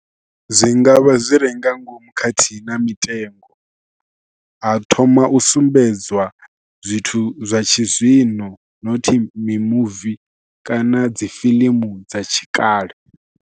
Zwi nga vha zwi re nga ngomu khathihi na mitengo, ha thoma u sumbedziwa zwithu zwa tshizwino nothi mimuvi kana dzi fiḽimu dza tshikale.